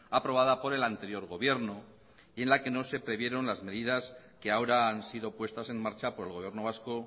aprobada por el anterior gobierno y en la que no se previeron las medidas que ahora han sido puestas en marcha por el gobierno vasco